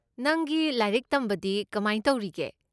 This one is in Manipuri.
ꯅꯪꯒꯤ ꯂꯥꯏꯔꯤꯛ ꯇꯝꯕꯗꯤ ꯀꯃꯥꯏ ꯇꯧꯔꯤꯒꯦ?